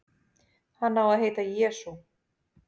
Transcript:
Hann á að heita Jesú.